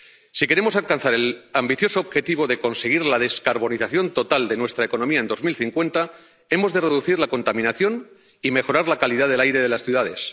Si queremos alcanzar el ambicioso objetivo de conseguir la descarbonización total de nuestra economía en 2050, hemos de reducir la contaminación y mejorar la calidad del aire de las ciudades.